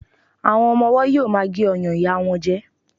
àwọn ọmọ ọwọ yíò ma gé ọyàn ìyá won jẹ